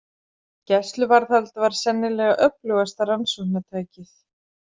Gæsluvarðhald var sennilega öflugasta rannsóknartækið.